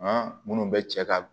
minnu bɛ cɛ ka